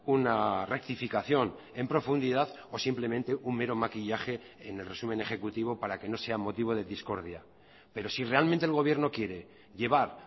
una rectificación en profundidad o simplemente un mero maquillaje en el resumen ejecutivo para que no sea motivo de discordia pero si realmente el gobierno quiere llevar